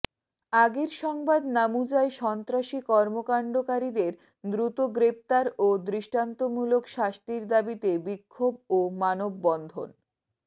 আগের সংবাদ নামুজায় সন্ত্রাসী কর্মকান্ডকারীদের দ্রুত গ্রেপ্তার ও দৃষ্টান্তমূলক শাস্তির দাবীতে বিক্ষোভ ও মানববন্ধন